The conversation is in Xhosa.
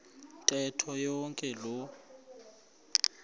ntetho yonke loo